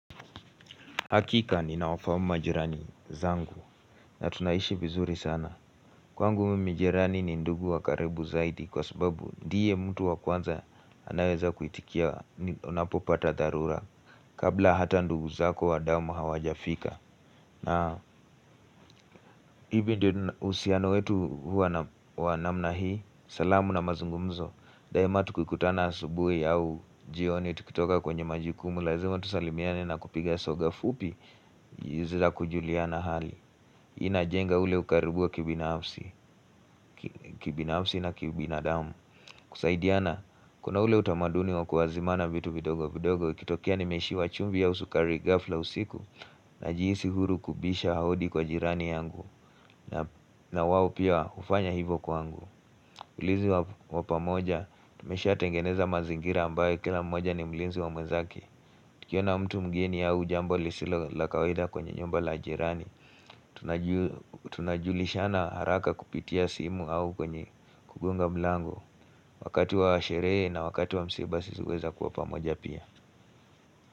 Hakika ni naofa majirani zangu na tunaishi vizuri sana. Kwangu mijirani ni ndugu wa karibu zaidi kwa sababu diye mtu wa kwanza anaweza kuitikia unapopata dharura kabla hata ndugu zako wa damu hawajafika. Na hivyo husiano wetu huwa na mna hii, salamu na mazungumzo. Rehema tukikutana asubui au jioni tukitoka kwenye majukumu Lazima tusalimiane na kupiga soga fupi za kujuliana hali ina jenga ule ukaribua kibinafsi kibinafsi na kiubinadamu kusaidiana kuna ule utamaduni wa kuwazimana vitu vidogo vidogo ikitokea nimeshi wa chumvi au sukari gafla usiku Najisi huru kubisha hodi kwa jirani yangu na wao pia hufanya hivo kwangu ulinzi wa pamoja, tumesha tengeneza mazingira ambayo kila mmoja ni mlinzi wa mwezake tukiona mtu mgeni au jambo lisilo la kawaida kwenye nyumba la jirani Tunajulishana haraka kupitia simu au kwenye kugonga mlango Wakati wa sherehe na wakati wa msiba sisi uweza kuwa pamoja pia.